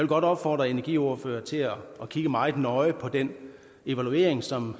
godt opfordre energiordførere til at kigge meget nøje på den evaluering som